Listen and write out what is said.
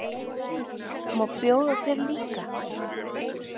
Má bjóða þér líka?